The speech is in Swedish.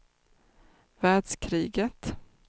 världskriget